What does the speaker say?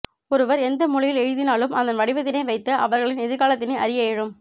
ஒருவர் எந்த மொழியில் எழுதினாலும் அதன் வடிவத்தினை வைத்து அவர்களின் எதிர்காலத்தினை அறிய இயலும்